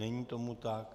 Není tomu tak.